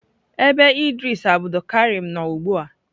Ebe Idris Abdulkareem nọ ugbu a?